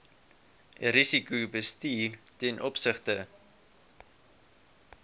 risikobestuur ten opsigte